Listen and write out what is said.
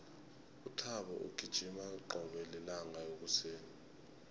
uthabo ugijima qobe lilanga ekuseni